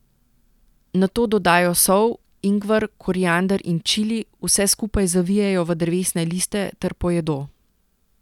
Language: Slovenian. Nato dodajo sol, ingver, koriander in čili, vse skupaj zavijejo v drevesne liste ter pojedo.